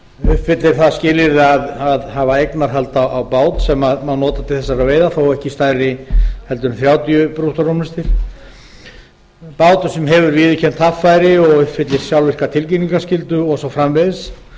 uppfyllir það skilyrði að hafa eignarhald á bát sem má nota til þessara veiða þó ekki stærri en þrjátíu brúttórúmlestir bát sem hefur viðurkennt haffæri og uppfyllir sjálfvirka tilkynningaskyldu og svo framvegis